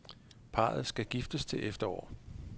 Parret skal giftes til efterår.